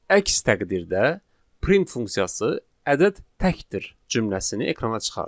Əks təqdirdə print funksiyası "ədəd təkdir" cümləsini ekrana çıxarır.